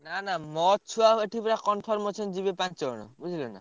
ନା ନା ମୋ ଛୁଆ ଏଠୁ ପୁରା confirm ଅଛନ୍ତି ଯିବେ ପାଞ୍ଚ ଜଣ ବୁଝିଲ?